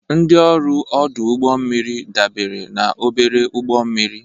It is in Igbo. Ndị ọrụ ọdụ ụgbọ mmiri dabere na obere ụgbọ mmiri.